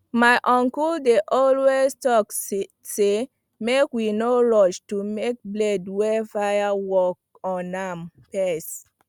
my uncle dey always talk say make we no rush to make blade wey fire work on am first